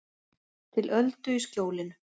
Til öldu í skjólinu